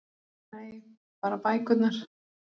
Nei- bara bækurnar